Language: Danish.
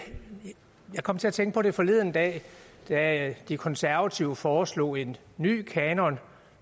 kom til at tænke på det forleden dag da de konservative foreslog en ny kanon